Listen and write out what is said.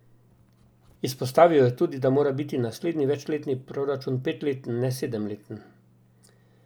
Izpostavil je tudi, da mora biti naslednji večletni proračun petleten, ne sedemleten.